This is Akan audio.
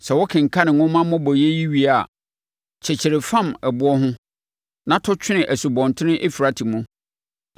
Sɛ wokenkane nwoma mmobɔeɛ yi wie a, kyekyere fam ɛboɔ ho, na to twene Asubɔnten Eufrate mu.